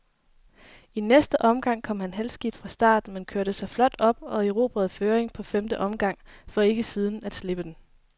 I næste omgang kom han halvskidt fra start, men kørte sig flot op og erobrede føringen på femte omgang, for ikke siden at slippe den.